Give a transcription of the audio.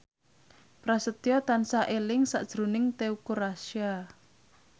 Prasetyo tansah eling sakjroning Teuku Rassya